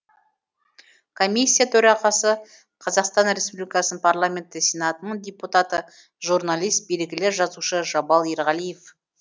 комиссия төрағасы қазақстан республикасы парламенті сенатының депутаты журналист белгілі жазушы жабал ерғалиев